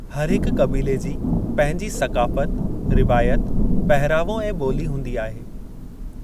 हर हिकु क़बीले जी पंहिंजी सक़ाफ़ति, रिवायत, पहिरावो ऐं ॿोली हूंदी आहे।